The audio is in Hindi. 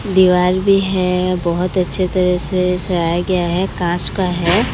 दिवाल भी है बहोत अच्छे तरह से सयाया गया है कांच का है।